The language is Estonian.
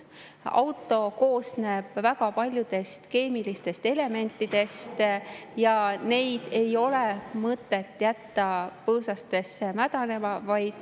Autod koosnevad väga paljudest keemilistest elementidest ja neid ei ole mõtet jätta põõsastesse mädanema.